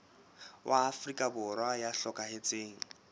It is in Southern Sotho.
wa afrika borwa ya hlokahetseng